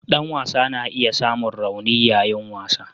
Dan wasa na iya samun rauni yayin wasa.